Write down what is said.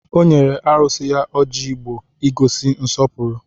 Ọ nyere arụsị ya ọjị Igbo ị gosi nsọpụrụ